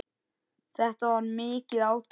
Þetta var mikið átak.